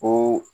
Ko